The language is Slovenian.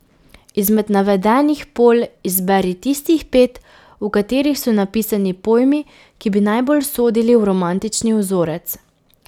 Izmed navedenih polj izberi tistih pet, v katerih so napisani pojmi, ki bi najbolj sodili v romantični vzorec.